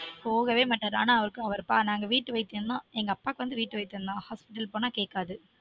போகவே மாட்டாரு ஆனா அவருக்கு அவர் பா நாங்க வீட்டு வைத்தியம் தான் எங்கப்பாக்கு வந்து வீட்டு வைத்தியம் தான் hospital போனா கேக்காது